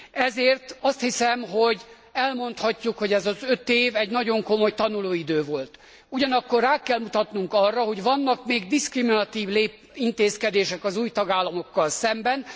Ezért azt hiszem, hogy elmondhatjuk, hogy ez az öt év egy nagyon komoly tanulóidő volt. Ugyanakkor rá kell mutatnunk arra, hogy vannak még diszkriminatív intézkedések az új tagállamokkal szemben.